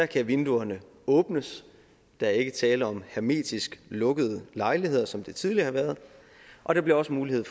kan vinduerne åbnes der er ikke tale om hermetisk lukkede lejligheder som det tidligere har været og der bliver også mulighed